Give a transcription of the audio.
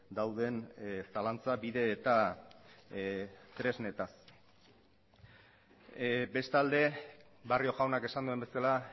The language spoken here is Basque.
dauden zalantza bide eta tresnez bestalde barrio jaunak esan duen bezala